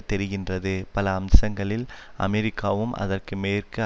தெரிகின்றது பல அம்சங்களில் அமெரிக்காவும் அதற்கு மேற்கு